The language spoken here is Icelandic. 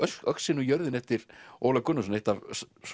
öxin og jörðin eftir Ólaf Gunnarsson eitt af